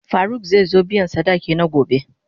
Faruk zai zo biyan sadaki na gobe.